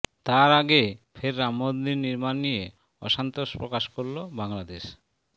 তার আগে ফের রাম মন্দির নির্মাণ নিয়ে অসন্তোষ প্রকাশ করল বাংলাদেশ